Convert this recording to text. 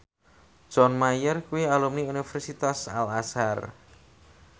John Mayer kuwi alumni Universitas Al Azhar